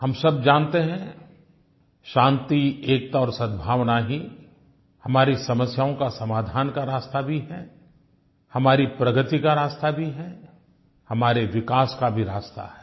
हम सब जानते हैं शान्ति एकता और सद्भावना ही हमारी समस्याओं का समाधान का रास्ता भी है हमारी प्रगति का रास्ता भी है हमारे विकास का भी रास्ता है